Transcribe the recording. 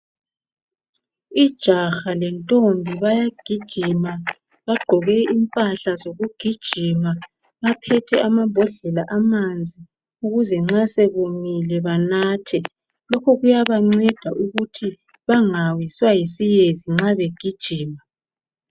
Ijaha lentombi bayagijima, bagqoke impahla zokugijima, baphethe amambhodlela amanzi, ukuze nxa sebomile banathe. Lokho kuyabanceda ukuthi bangawiswa yisiyezi nxa begijima.